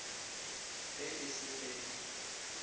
ge e se ge di